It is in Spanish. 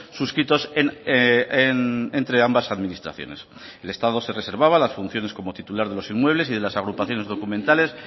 suscritos entre ambas administraciones el estado se reservaba las funciones como titular de los inmuebles y de las agrupaciones documentales